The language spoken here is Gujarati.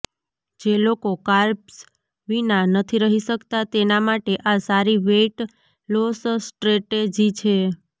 જે લોકો કાર્બ્સ વિના નથી રહી શકતા તેના માટે આ સારી વેઈટ લોસ સ્ટ્રેટેજી છે